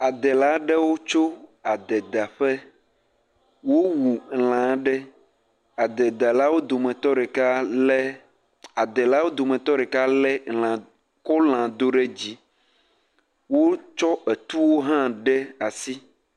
Adela ɖewo tso adedaƒe, wowu lã aɖe. Adela wo dometɔ ɖeka lé, adela wo dometɔ ɖeka lé kɔ lã do ɖe dzi. Wotsɔ etuwo hã de asi.